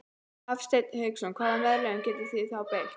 Hafsteinn Hauksson: Hvaða meðölum getið þið þá beitt?